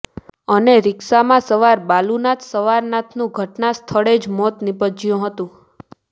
અને રીક્ષામાં સવાર બાલુનાથ સવાનાથનુ ઘટના સ્થળે જ મોત નિપજયુ હતું